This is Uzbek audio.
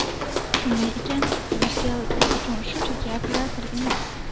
Shunday ekan, Ucell biz uchun shunchaki operator emas.